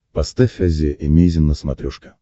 поставь азия эмейзин на смотрешке